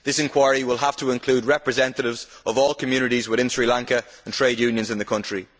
This inquiry will have to include representatives of all communities within Sri Lanka and trade unions in the country.